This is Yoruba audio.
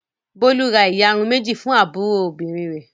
Bólú ra ìyarun méjì fún àbúrò obìnrin rẹ̀.